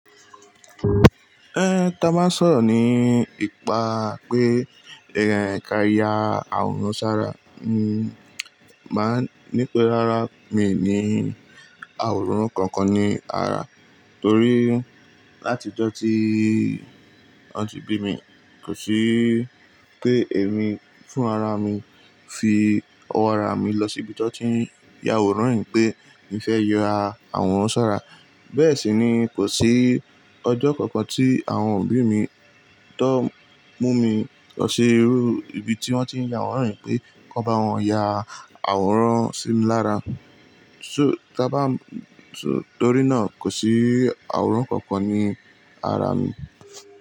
Eh, ta máa ń sọ̀rọ̀ ní ipa pé ẹ̀ka ìyà àwòrán ṣára, mm, màá ní pé rárá mi ní àwòrán kankan ní ara, torí láti ọjọ́ tí à tí bí mi kò sí pé èmi fún ara mi fi ọwọ́ ara mi lọ síbi tí wọ́n ti ń ya àwòrán pé mo fẹ́ yọ ara àwòrán ṣára. Bẹ́ẹ̀ sì ni kò sí ọjọ́ kankan tí àwọn òbí mi tó mú mi lọ sí ibi tí wọ́n ti ń ya àwòrán pé kò bá wọn ya àwòrán sí mi lára. So, ta bá, torí náà kò sí àwòrán kankan ní ara mi.